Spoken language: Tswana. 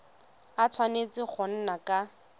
a tshwanetse go nna ka